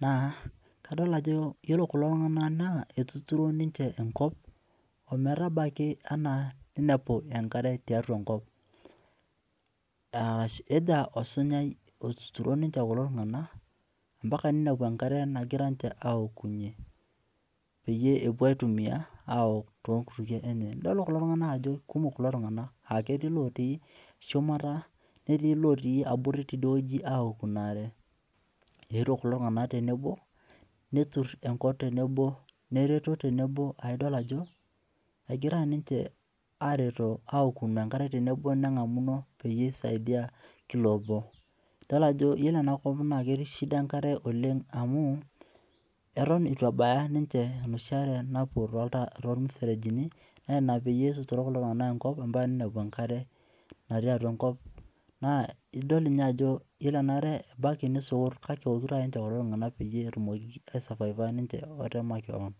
naa kadol ajo iyiolo kulo tung'anak naa etuturo ninche enkop ometabaiki enaa ninepu enkare tiatwa enkop eja osunyai otuturo ninche kulo tung'anak ompaka ninepu enkare nagira ninche aaokunye peeyie epwo aitumia aok toonkutukie enye. Nidol kulo tung'anak ajo kumok kulo tung'anak aa ketii ilotii shumata netii ilootii abori tidie wueji aaku ina are. Eetwo kulo tung'anak tenebo, neturr enkop tenebo, nereto tenebo, aidol ajo egira ninche aareto aoku enkare tenebo neng'amuno peyie eisaidiai kila obo. Idol ajo iyiolo enakop naa ketii shida enkare oleng amu eton etu ebaya ninche enoshi are napwo toormuferejini naa ina pee etuturo kulo tung'anak enkop ompaka ninepu enkare natii atwa enkop naa idol ninye ajo iyiolo enaare, ebaiki nisukut kake eokito ake ninche kulo tung'anak pee etumoki aisavaiva ninche ata makeon